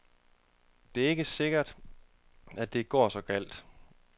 Det er ikke sikkert, at det går så galt.